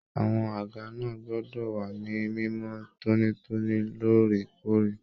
Àwọn àga náà gbọdọ wa ní mimọ tonitoni lóòrèkóòrè.